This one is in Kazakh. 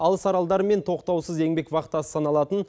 алыс аралдармен тоқтаусыз еңбек вахтасы саналатын